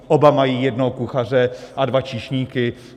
Oba mají jednoho kuchaře a dva číšníky.